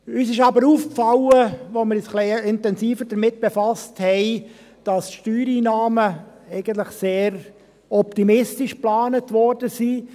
Uns ist aber aufgefallen, als wir uns ein wenig intensiver damit befassten, dass die Steuereinnahmen eigentlich sehr optimistisch geplant worden waren.